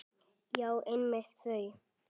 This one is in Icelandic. Já, einmitt þau!